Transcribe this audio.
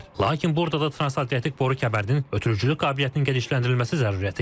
Lakin burda da transatlantik boru kəmərinin ötürücülük qabiliyyətinin genişləndirilməsi zəruriyyəti yaranır.